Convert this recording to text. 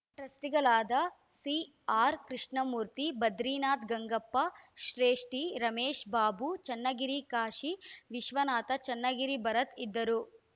ಟ್ರಸ್ಟಿಗಳಾದ ಸಿಆರ್‌ಕೃಷ್ಣಮೂರ್ತಿ ಬದ್ರಿನಾಥ್‌ ಗಂಗಪ್ಪ ಶ್ರೇಷ್ಠಿ ರಮೇಶ ಬಾಬು ಚನ್ನಗಿರಿ ಕಾಶಿ ವಿಶ್ವನಾಥ ಚನ್ನಗಿರಿ ಭರತ್‌ ಇದ್ದರು